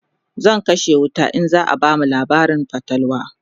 zaa kashe wuta in zaa bamu labarin fatalwa